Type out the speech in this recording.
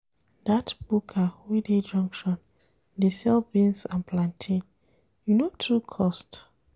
Dat buka wey dey junction dey sell beans and plantain, e no too cost.